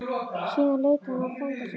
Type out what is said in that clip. Síðan leit hann á frænda sinn.